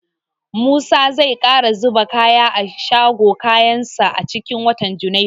Musa zai ƙara zuba kaya a shagon kayansa a cikin watan junairu.